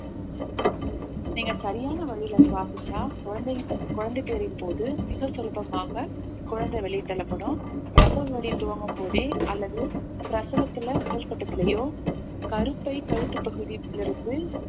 நீங்க சரியான வழியில சுவாசிச்சா குழந்தை குழந்தை பேரின் போது மிக சுலபமாக குழந்தை வெளியே தள்ளப்படும் பிரசவ வலி துவங்கும்போதே அல்லது பிரசவத்தில முதல் கட்டத்திலயோ கருப்பை கழுத்து பகுதியிலிருந்து